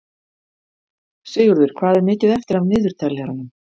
Sigurður, hvað er mikið eftir af niðurteljaranum?